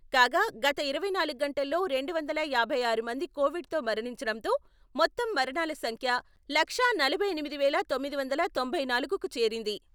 కాగా గత ఇరవై నాలుగు గంటల్లో రెండు వందల యాభై ఆరు మంది కోవిడ్ తో మరణించడంతో మొత్తం మరణాల సంఖ్య లక్షా నలభై ఎనిమిది వేల తొమ్మిది వందల తొంభై నాలుగుకు చేరింది.